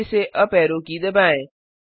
फिर से यूपी ऐरो की दबाएं